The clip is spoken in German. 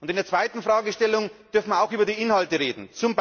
In der zweiten Fragestellung dürfen wir auch über die Inhalte reden.